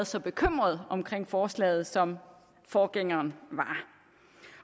så bekymret omkring forslaget som forgængeren var